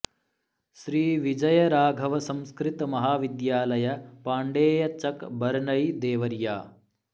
श्री विजय राघव संस्कृत महाविद्यालय पाण्डेय चक बरनई देवरिया